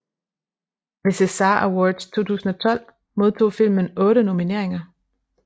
Ved César Awards 2012 modtog filmen otte nomineringer